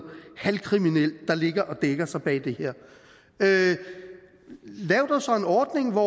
halvkriminelt der ligger og dækker sig bag det her lav dog så en ordning hvor